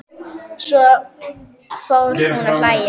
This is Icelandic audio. Svo fór hún að hlæja.